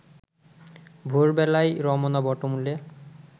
ভোর বেলায় রমনা বটমূলে